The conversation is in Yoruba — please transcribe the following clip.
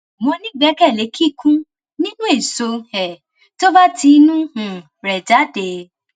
mo nígbẹkẹlé kíkún nínú eéṣọ um tó bá ti inú um rẹ jáde